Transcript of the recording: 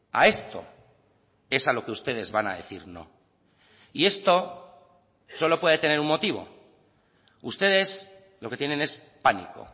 a esto es a lo que ustedes van a decir no y esto solo puede tener un motivo ustedes lo que tienen es pánico